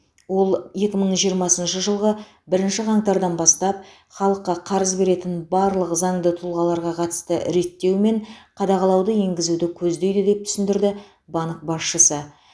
ол екі мың жиырмасыншы жылғы бірінші қаңтардан бастап халыққа қарыз беретін барлық заңды тұлғаларға қатысты реттеу мен қадағалауды енгізуді көздейді деп түсіндірді банк басшысы